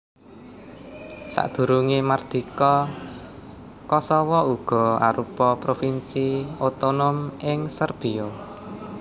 Sadurungé mardika Kosowo uga arupa provinsi otonom ing Serbiya